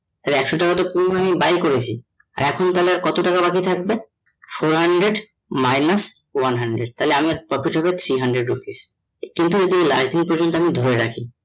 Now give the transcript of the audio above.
একশো টাকা পুরো নিয়ে আমি buy করেছি আর এখন তাহলে আর কত টাকা বাকি থাকে? four hundred minus one hundred তাহলে আমার profit হবে three hundred rupees কিন্তু যদি প্রজন্ত আমি ধরে রাখি